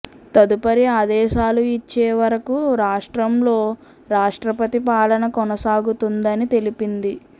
తదుపరి ఆదేశాలు ఇచ్చే వరకు రాష్ట్రంలో రాష్ట్రపతి పాలన కొనసాగుతుందని తెలిపింది